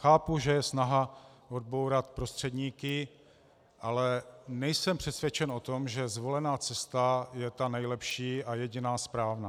Chápu, že je snaha odbourat prostředníky, ale nejsem přesvědčen o tom, že zvolená cesta je ta nejlepší a jediná správná.